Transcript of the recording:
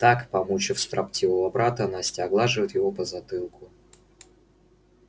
так помучив строптивого брата настя оглаживает его по затылку